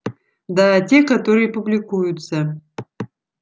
да те которые публикуются